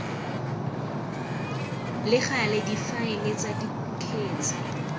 le gale difaele tsa dikgetse